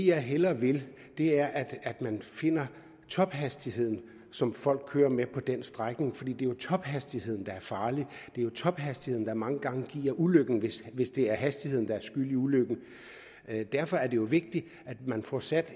jeg hellere vil er at man finder tophastigheden som folk kører med på den strækning for jo tophastigheden der er farlig det er tophastigheden der mange gange giver ulykken hvis hvis det er hastigheden der er skyld i ulykken derfor er det vigtigt at man får sat